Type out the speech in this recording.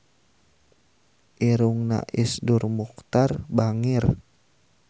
Irungna Iszur Muchtar bangir